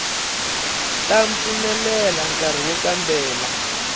ta pfumelela nkari wo kambela